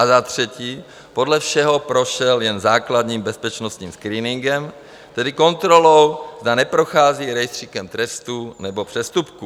A za třetí, podle všeho prošel jen základním bezpečnostním screeningem, tedy kontrolou, zda neprochází rejstříkem trestů nebo přestupků.